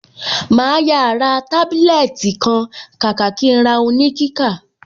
Màá yà ra tábílẹ́ẹ́tì kan kàkà kí n ra oníkíkà.